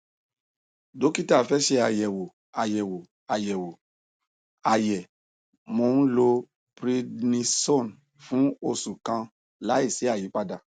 dókítà fẹ ṣe àyẹwò àyẹwò àyẹwò àyẹ mo ń lo prednisone fún oṣù kan láìsí àyípadà